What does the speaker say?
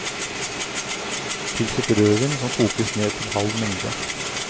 Tilsett rødvin, som kokes ned til halv mengde.